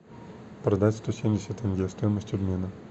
продать сто семьдесят тенге стоимость обмена